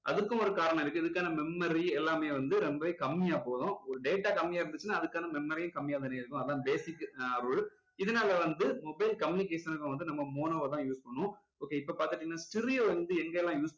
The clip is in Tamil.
அதுக்கும் ஒரு காரணம் இருக்கு இதுக்கான memory எல்லாமே வந்து ரொம்பவே கம்மியா போகும் ஒரு data கம்மியா இருந்துச்சுன்னா அதுக்கான memory யும் கம்மியா தானே இருக்கும் அது தான் basic rule இதனால வந்து mobile communication வந்து நம்ம mono வ தான் use பண்ணுவோம் okay இப்போ பாத்துக்கிட்டீங்கனா stereo வந்து எங்க எல்லாம் use